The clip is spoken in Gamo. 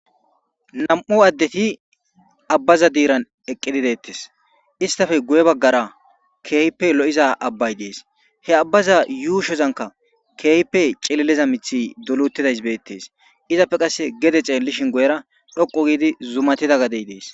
Nam'u adeti aba diran eqida istappe guye bagan kehippe lo'iza abbay des. He abbaza yushozanka kehippe c'ililiza mithiy doli uttidaysi betes.izape Gede xelishin istappe guye dhuqu gidivzumatida gadey dees.